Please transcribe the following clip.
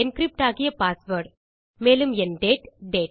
encrypt ஆகிய password மேலும் என் டேட்